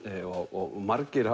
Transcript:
og margir